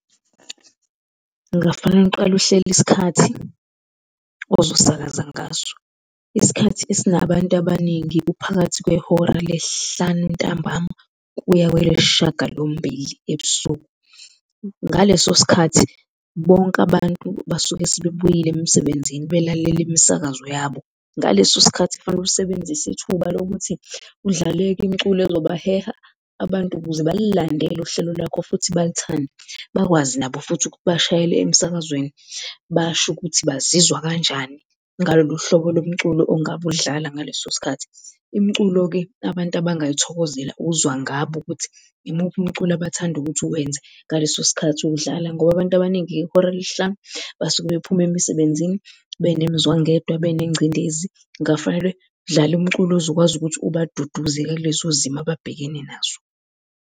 Kungafanele uqale uhlele isikhathi ozosakaza ngaso. Isikhathi esinabantu abaningi kuphakathi kwehora lesihlanu ntambama kuya kwelesishagalombili ebusuku. Ngaleso sikhathi bonke abantu basuke sebebuyile emsebenzini belalele imisakazo yabo. Ngaleso sikhathi kufanele usebenzise ithuba lokuthi udlale-ke imiculo ezobaheha abantu ukuze balilandele uhlelo lwakho futhi balithande, bakwazi nabo futhi ukuthi bashayele emsakazweni basho ukuthi bazizwa kanjani ngalolu hlobo lo mculo ongabe ulidlala ngaleso sikhathi. Imculo-ke abantu abangayithokozela uzwa ngabo ukuthi imuphi umculo abathanda ukuthi uwenze ngaleso sikhathi uwudlala ngoba abantu abaningi ngehora lesihlanu basuke bephuma emsebenzini benemzwangedwa, benengcindezi, kungafanele udlale umculo ozokwazi ukuthi ubaduduze-ke kulezo zimo ababhekene nazo.